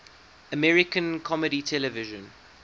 american comedy television